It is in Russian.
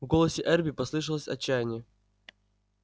в голосе эрби послышалось отчаяние